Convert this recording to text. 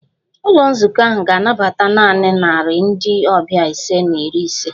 Ụlọ nzukọ ahụ ga-anabata naanị narị ndị ọbịa ise na iri ise